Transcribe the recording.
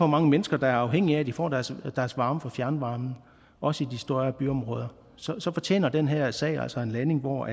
mange mennesker der er afhængige af at de får deres varme fra fjernvarmen også i de større byområder så så fortjener den her sag altså en landing hvor